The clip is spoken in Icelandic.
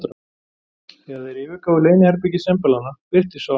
Þegar þeir yfirgáfu leyniherbergi sembalanna, birtist sá Hal